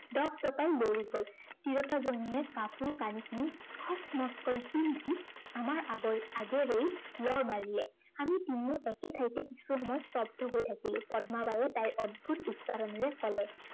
দপদপাই দৌৰি গল। তিৰোতাজনীয়ে কাপোৰ কানিখিনি খচমচকৈ আমাৰ আগৰ আগেৰেই লৰ মাৰিলে। আমি তিনিও একে ঠাইতেই কিছু সময় স্তব্ধ হৈ থাকিলো। পদ্মাবাইয়ে তাইৰ অদ্ভূত উস্তাদানেৰে কলে